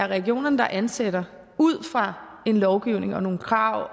regionerne der ansætter ud fra en lovgivning og nogle krav